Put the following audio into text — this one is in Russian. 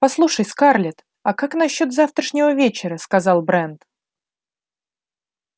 послушай скарлетт а как насчёт завтрашнего вечера сказал брент